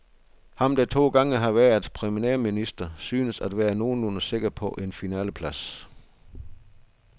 Ham, der to gange har været premierminister, synes at være nogenlunde sikker på en finaleplads.